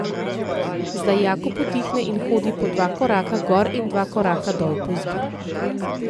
Zdaj Jakob utihne in hodi po dva koraka gor in dva koraka dol po izbi.